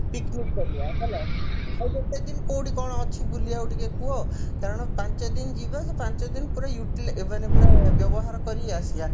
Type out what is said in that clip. picnic କରିବା ହେଲା ଆଉ ଗୋଟେ ଦିନ କଉଠି କଣ ଅଛି ବୁଲିବାକୁ ଟିକେ କୁହ କାରଣ ପାଞ୍ଚଦିନ ଯିବ ସେ ପାଞ୍ଚଦିନ ପୁରା utilise ମାନେ ପୁରା ବ୍ୟବହାର କରି ଆସିବା